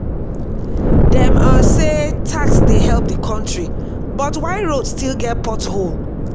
dem um say tax dey help the country but why road still get pothole?